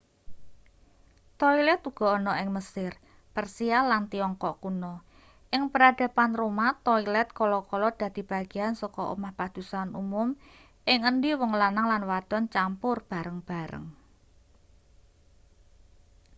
toilet uga ana ing mesir persia lan tiongkok kuno ing peradaban roma toilet kala-kala dadi bagean saka omah padusan umum ing endi wong lanang lan wadon campur bareng-bareng